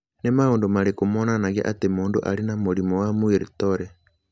Nĩ maũndũ marĩkũ monanagia atĩ mũndũ arĩ na mũrimũ wa Muir Torre?